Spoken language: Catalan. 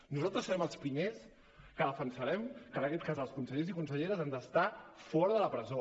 nosaltres serem els primers que defensarem que en aquest cas els consellers i conselleres han d’estar fora de la presó